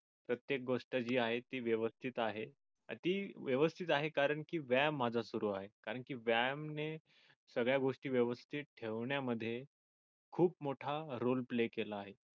प्रत्येक गोष्ट जी आहे ती व्यवस्थित आहे ती व्यवस्थित आहे. कारण की व्यायाम माझा सुरु आहे कारण की व्यायाम ने सगळ्या गोष्टी व्यवस्थित ठेवण्या साठी खूप मोठा role play केला आहे.